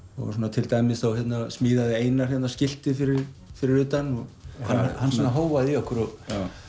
til dæmis smíðaði Einar skiltið fyrir fyrir utan hann hóaði í okkur og